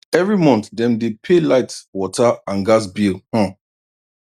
every month dem dey pay light water and gas bill um